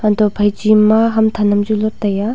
antoh phai che ma ham than am chu lot tai aa.